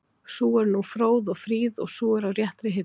Sú er nú fróð og fríð og sú er á réttri hillu